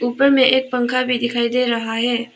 ऊपर में एक पंखा भी दिखाई दे रहा है।